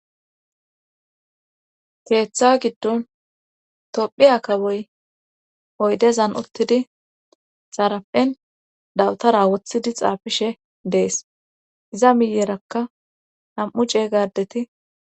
keeththa giddon tophiya kawoy oydezan uttidi xaraphen dawutara wothidi xaafishe de'es iza miyerakka nam'u ceeyga adeti